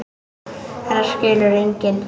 Þetta skilur enginn.